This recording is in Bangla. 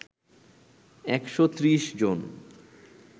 একশো ত্রিশ জন